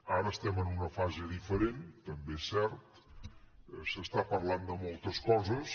ara estem en una fase diferent també és cert s’està parlant de moltes coses